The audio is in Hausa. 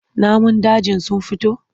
Namun dajin sun fito?